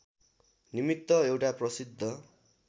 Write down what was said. निमित्त एउटा प्रसिद्ध